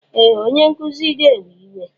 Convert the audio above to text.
Ee! Onye nkuzi ga-ewe iwe.